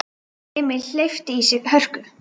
Emil hleypti í sig hörku.